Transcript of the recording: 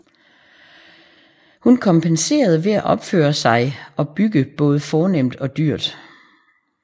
Hun kompenserede ved at opføre sig og bygge både fornemt og dyrt